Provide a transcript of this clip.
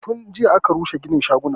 Tun jiya aka rushe ginin shagunan